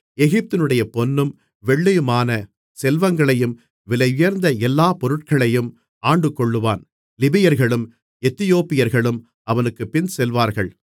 எகிப்தினுடைய பொன்னும் வெள்ளியுமான செல்வங்களையும் விலையுயர்ந்த எல்லா பொருட்களையும் ஆண்டுகொள்ளுவான் லிபியர்களும் எத்தியோப்பியர்களும் அவனுக்குப் பின்செல்லுவார்கள்